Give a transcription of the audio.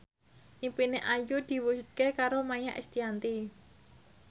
impine Ayu diwujudke karo Maia Estianty